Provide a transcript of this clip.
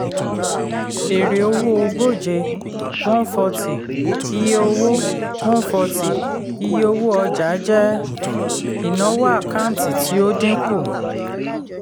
èrè-owó ogóje (140) iye-owó (140) iye-owó ọjà jẹ́ ìnáwó àkáǹtì tí ó dínkù.